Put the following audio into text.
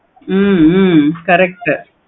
ஹம் உம் correct